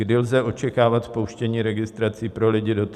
Kdy lze očekávat spouštění registrací pro lidi do 30 let?